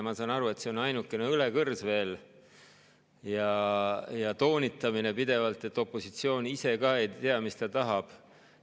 Ma saan aru, et see on veel ainukene õlekõrs, pidevalt toonitatakse, et opositsioon ise ka ei tea, mis ta tahab.